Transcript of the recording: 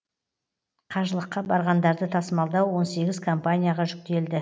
қажылыққа барғандарды тасымалдау он сегіз компанияға жүктелді